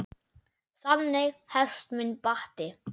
Þannig hefst minn bati.